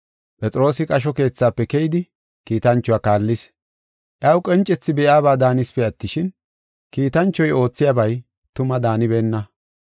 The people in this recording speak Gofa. Phexroosi qasho keethafe keyidi kiitanchuwa kaallis. Iyaw qoncethi be7iyaba daanisipe attishin, kiitanchoy oothiyabay tuma daanibeenna.